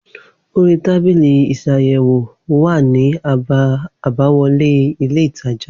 Orí tábìlì isàyèwò wà ní àbá wọlé ilé ìtajà